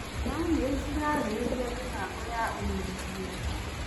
Bamĩrĩ cirarĩrĩriamĩbango ya ũnyitanĩri.